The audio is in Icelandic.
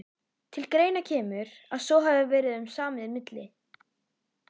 Til greina kemur, að svo hafi verið um samið milli